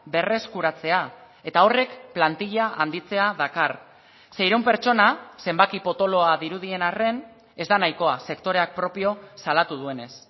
berreskuratzea eta horrek plantilla handitzea dakar seiehun pertsona zenbaki potoloa dirudien arren ez da nahikoa sektoreak propio salatu duenez